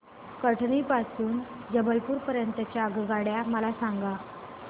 कटनी पासून ते जबलपूर पर्यंत च्या आगगाड्या मला सांगा